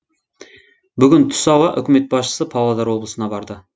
бүгін түс ауа үкімет басшысы павлодар облысына барды